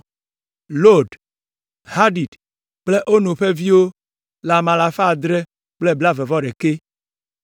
Lod, Hadid kple Ono ƒe viwo le ame alafa adre kple blaeve-vɔ-ɖekɛ (721).